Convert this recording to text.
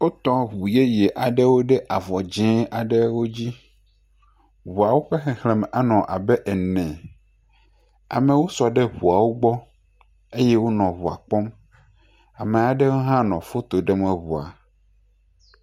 Wotɔ ŋu yeye aɖewo ɖe avɔ dzẽe aɖewo dzi. Ŋuawo ƒe xexlẽme anɔ abe ene. Amewo sɔ ɖe ŋuawo gbɔ eye wonɔ ŋuawo kpɔm. Ame aɖewo hã nɔ foto ɖem eŋua